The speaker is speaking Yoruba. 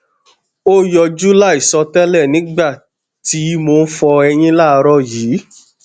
o yọju laisọtẹlẹ nigba ti mo n fọ eyin laaarọ yii